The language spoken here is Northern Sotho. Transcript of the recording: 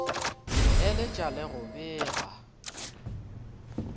go eletša le go bega